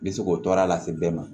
Bɛ se k'o tɔɔrɔ lase bɛɛ ma